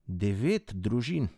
Devet družin.